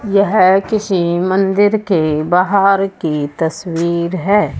यह किसी मंदिर के बाहर की तस्वीर है।